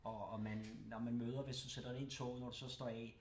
Og og man når man møder hvis du sætter dig ind i toget når du så står af